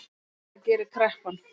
Það gerir kreppan